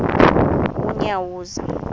unyawuza